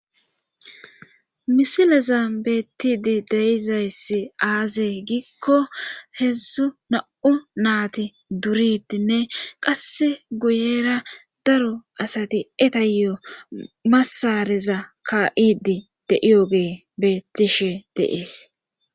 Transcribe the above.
Misileza beettidi deizayssi aazee giikko hedzzu na'u naati duridinne qasse guyera daro asati etayo masareza ka'idi deiyoge beettishe deees.